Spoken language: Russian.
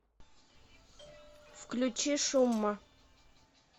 включи шумма